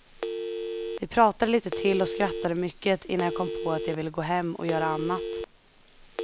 Vi pratade litet till och skrattade mycket innan jag kom på att jag ville gå hem och göra annat.